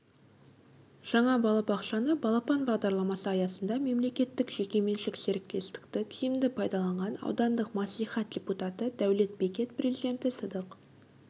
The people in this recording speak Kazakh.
жаңа балабақшаны балапан бағдарламасы аясында мемлекеттік-жекеменшік серіктестікті тиімді пайдаланған аудандық мәслихат депутаты дәулет бекет президенті сыдық